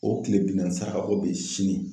O kile bi naani saraka bɔ bɛ ye sini.